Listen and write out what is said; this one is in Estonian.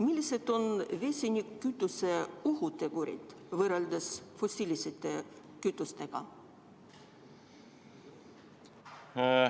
Millised on vesinikkütuse ohutegurid võrreldes fossiilsete kütustega?